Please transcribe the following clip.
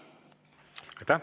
Aitäh!